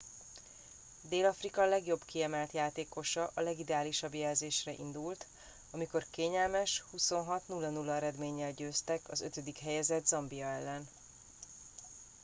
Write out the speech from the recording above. dél afrika legjobb kiemelt játékosa a legideálisabb jelzésre indult amikor kényelmes 26-00 eredménnyel győztek a 5. helyezett zambia ellen